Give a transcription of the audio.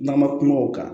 N'an ma kuma o kan